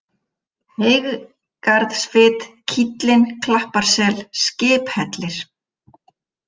Heygarðsfit, Kíllinn, Klappasel, Skiphellir